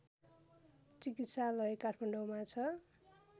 चिकित्सालय काठमाडौँमा छ